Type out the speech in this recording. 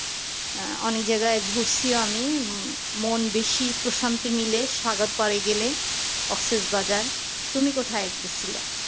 আহ অনেক জায়গায় ঘুরসি ও আমি মন বেশি প্রশান্ত মিলে সাগত পারে গেলে কক্সেসবাজার তুমি কোথায় গেসিলা